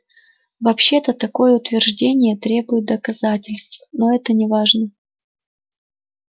вообще-то такое утверждение требует доказательств но это неважно